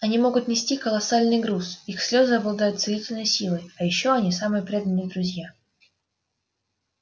они могут нести колоссальный груз их слезы обладают целительной силой и ещё они самые преданные друзья